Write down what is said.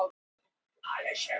Hann virti Smára ekki viðlits.